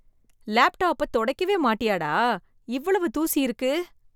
லேப்டாப்பத் தொடைக்கவே மாட்டியா டா? இவ்வளவு தூசி இருக்கு!